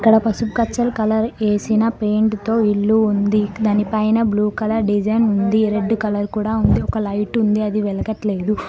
ఇక్కడ పసుపు పచ్చని కలర్ వేసిన పెయింట్ తో ఇల్లు ఉంది. దాని పైన బ్లూ కలర్ డిజైన్ ఉంది. రెడ్ కలర్ కూడా ఉంది ఒక లైట్ ఉంది అది వెలగట్లేదు.